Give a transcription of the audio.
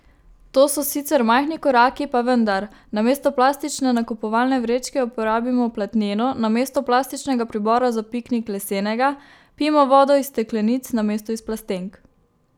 To so sicer majhni koraki, pa vendar, namesto plastične nakupovalne vrečke uporabimo platneno, namesto plastičnega pribora za piknik lesenega, pijmo vodo iz steklenic namesto iz plastenk ...